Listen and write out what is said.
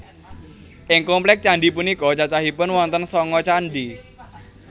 Ing kompleks candhi punika cacahipun wonten sanga candhi